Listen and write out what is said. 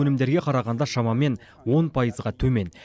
өнімдерге қарағанда шамамен он пайызға төмен